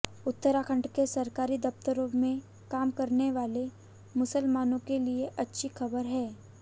उत्तराखंड के सरकारी दफ्तरों में काम करने वाले मुसलमानों के लिए अच्छी खबर है